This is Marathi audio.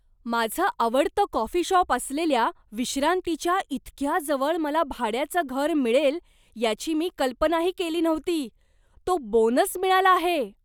माझं आवडतं कॉफी शॉप असलेल्या 'विश्रांती'च्या इतक्या जवळ मला भाड्याचं घर मिळेल याची मी कल्पनाही केली नव्हती. तो बोनस मिळाला आहे!